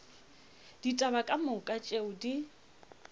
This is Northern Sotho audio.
ditaba ka moka tšeo di